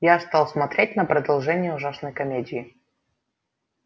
я стал смотреть на продолжение ужасной комедии